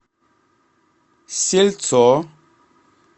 сельцо